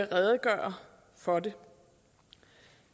redegøre for det